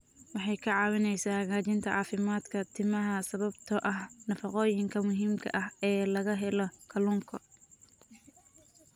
Waxay ka caawisaa hagaajinta caafimaadka timaha sababtoo ah nafaqooyinka muhiimka ah ee laga helo kalluunka.